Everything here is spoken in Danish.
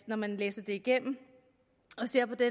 når man læser det igennem og ser på det